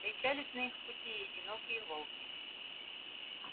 встречались на их пути и одинокие волки